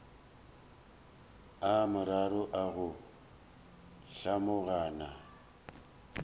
a mararo a go hlomagana